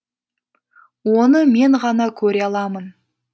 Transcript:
оны мен ғана көре аламын